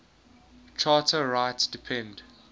charter rights depend